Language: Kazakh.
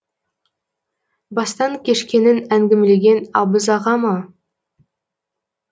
бастан кешкенін әңгімелеген абыз аға ма